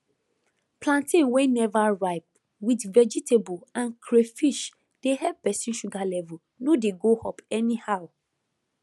plantain wey never ripe with vegetable and crayfish dey help person sugar level no dey go up anyhow